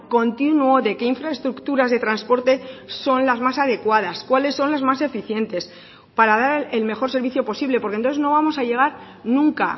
continuo de qué infraestructuras de transporte son las más adecuadas cuáles son las más eficientes para dar el mejor servicio posible porque entonces no vamos a llegar nunca